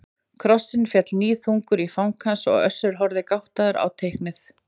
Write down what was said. Krossinn féll níðþungur í fang hans og Össur horfði gáttaður á teiknið.